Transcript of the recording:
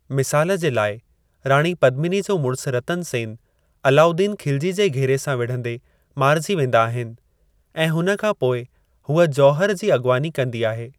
मिसाल जे लाइ, राणी पद्मिनी जो मुड़सु रतन सेन अलाउद्दीन खिलजी जे घेरे सां विढ़ंदे मारिजी वेंदा आहिनि, ऐं हुन खां पोइ हूअ जौहर जी अॻुवानी कंदी आहे।